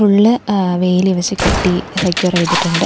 ഉള്ള് ഏ വേലി വെച്ച് കെട്ടി സെക്യൂർ ചെയ്തിട്ടുണ്ട്.